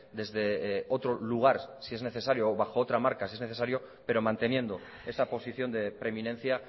desde otro lugar si es necesario o bajo otra marca si es necesario pero manteniendo esa posición de preeminencia